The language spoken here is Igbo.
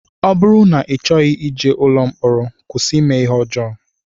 Ọ bụrụ na I chọghị ije ụlọ mkpọrọ kwụsị ime ihe ọjọọ